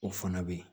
O fana bɛ ye